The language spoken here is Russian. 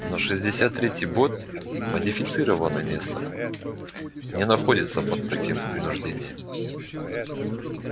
но шестьдесят третий бот модифицированный нестор не находится под таким принуждением